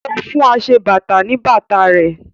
O fún aṣebàtà ní bàtà rẹ̀